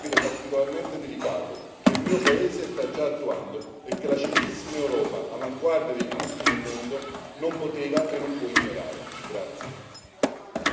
È un aspetto della cura del disabile particolarmente delicato, che il mio paese sta già attuando e che la civilissima Europa, avanguardia dei diritti nel mondo, non poteva e non può ignorare.